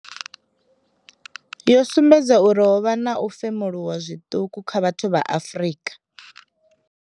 Yo sumbedza uri ho vha na u femuluwa zwiṱuku kha vhathu vha Afrika.